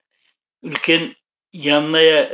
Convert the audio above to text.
үлкен ямная